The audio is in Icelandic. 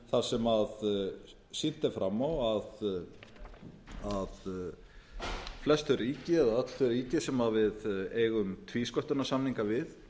tólf þar sem sýnt er fram á að flest þau ríki eða öll þau ríki sem við eigum tvísköttunarsamninga við